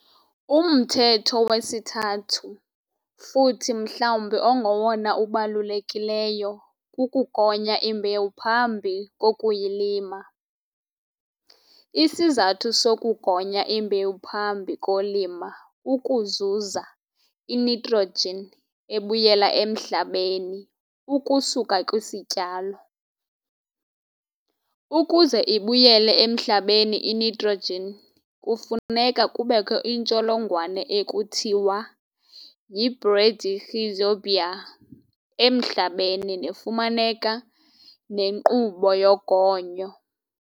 Umthetho wesithathu futhi mhlawumbi ongowona ubalulekileyo kukugonya imbewu phambi kokuyilima. Isizathu sokugonya imbewu phambi kolima kukuzuza initrogen ebuyela emhlabeni ukusuka kwisityalo. Ukuze ibuyele emhlabeni initrogen kufuneka kubekho intsholongwane ekuthiwa yi-bradyrhizobia emhlabeni nefumaneka nenkqubo yogonyo.